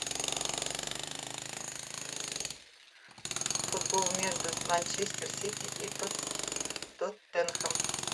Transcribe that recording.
футбол между манчестер сити и тоттенхэм